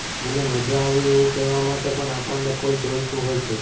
મને મજા આવી એવું કહેવા માટે પણ આપણને કોઈ જોઈતું હોય છે